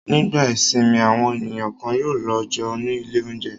Nígbà ìsìnmi àwọn ènìyàn kan yóò lọ jẹun ní ilé-oúnjẹ.